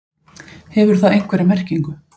Hefur það einhverja merkingu?